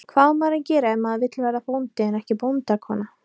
Hvað á maður að gera ef maður vill verða bóndi en ekki bóndakona?